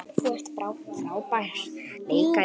Þú ert frábær leikari.